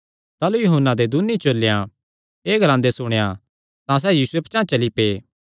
ताह़लू यूहन्ना दे दून्नी चेलेयां एह़ ग्लांदे सुणेयां तां सैह़ यीशुये पचांह़ चली पै